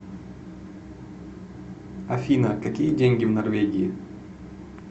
афина какие деньги в норвегии